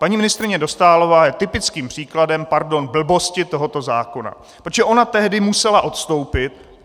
Paní ministryně Dostálová je typickým příkladem, pardon, blbosti tohoto zákona, protože ona tehdy musela odstoupit.